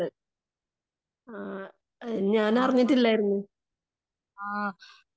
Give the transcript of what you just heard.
ആ ഞാൻ അറിഞ്ഞിട്ടില്ലായിരുന്നു.